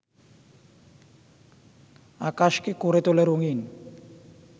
আকাশকে করে তোলে রঙিন